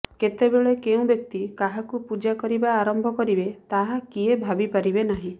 କେତେ ବେଳେ କେଉଁ ବ୍ଯକ୍ତି କାହାକୁ ପୂଜା କରିବା ଆରମ୍ଭ କରିବେ ତାହାର କିଏ ଭାବି ପାରିବେ ନାହିଁ